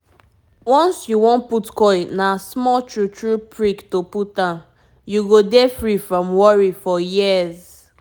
once you wan put coil na small true true prick to put am-- u go dey free from worry for years